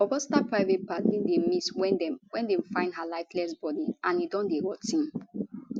augusta private part bin dey miss wen dem wen dem find her lifeless body and e don dey rot ten